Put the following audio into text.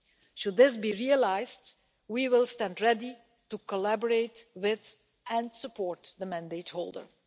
Should this be realised, we will stand ready to cooperate with and support the mandate holder.